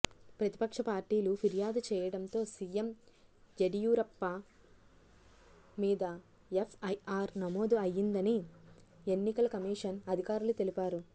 ప్రతిపక్ష పార్టీలు ఫిర్యాదు చెయ్యడంతో సీఎం యడియూరప్ప మీద ఎఫ్ఐఆర్ నమోదు అయ్యిందని ఎన్నికల కమిషన్ అధికారులు తెలిపారు